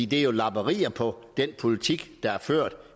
det er jo lapperier på den politik der